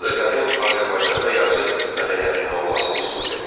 Bu da qədim Azərbaycanda yazı mədəniyyətinin olmasını sübut edir.